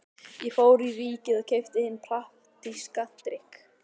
Ég fór í Ríkið og keypti hinn praktíska drykk